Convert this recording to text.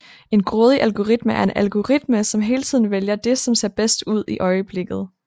En grådig algoritme er en algoritme som hele tiden vælger det som ser bedst ud i øjeblikket